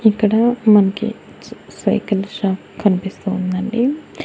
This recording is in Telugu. ఇక్కడ మనకి సైకిల్ షాప్ కనిపిస్తోందండి.